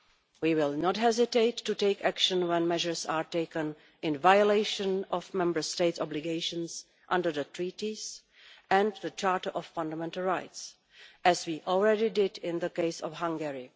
We will not hesitate to take action when measures are taken in violation of Member States' obligations under the Treaties and the Charter of Fundamental Rights, as we have already done in the case of Hungary.